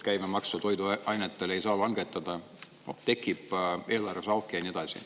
Toiduainete käibemaksu ei saa langetada, tekib eelarves auk, ja nii edasi.